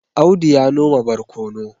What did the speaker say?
Audu ya noma barkono